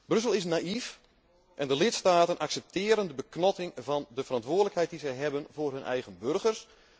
Brussel is naïef en de lidstaten accepteren de beknotting van de verantwoordelijkheid die zij hebben voor hun eigen burgers.